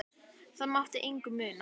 Það mátti engu muna.